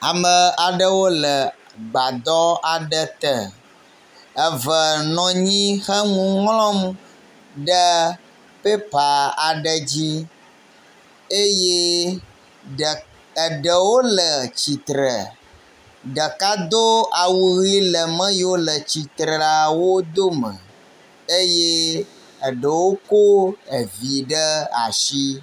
Ame aɖewo le gbadɔ aɖe te, eve nɔ anyi he nu ŋlɔm le pepa aɖe dzi eye eɖewo le tsitre. Ɖeka do awu ʋɛ̃ le ame yiwo le atsitre la wo dome eye eɖewo ko evi ɖe asi.